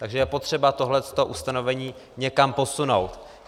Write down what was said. Takže je potřeba tohle ustanovení někam posunout.